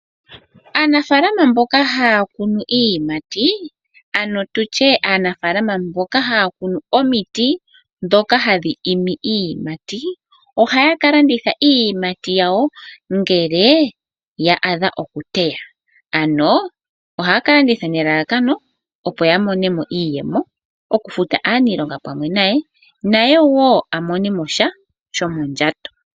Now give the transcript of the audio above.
Aanafaalama mboka haya kunu iiyimati ano tutye aanafaalama mboka haya kunu omiti ndhoka hadhi imi iiyimati ohaya kalanditha iiyimati yawo ngele ya dha oku teywa. Ano ohaya ka landitha nelalakano opo yamonemo iiyemo okufuta aanilonga pamwe naye ,naye woo amonemosha shomondjato.